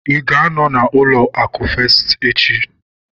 Ịga anọ na ụlọ akụ festi echi?